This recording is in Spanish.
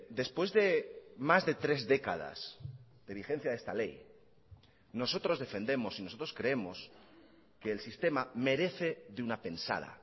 después de más de tres décadas de vigencia de esta ley nosotros defendemos y nosotros creemos que el sistema merece de una pensada